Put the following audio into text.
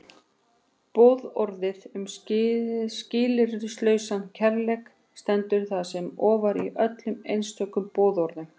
Boðorðið um skilyrðislausan kærleika stendur þar með ofar öllum einstökum boðorðum.